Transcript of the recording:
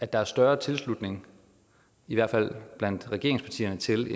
der er større tilslutning i hvert fald blandt regeringspartierne til